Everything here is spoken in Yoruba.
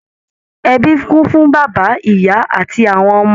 Ẹbí kún fún bàbá, ìyá àti àwọn ọmọ.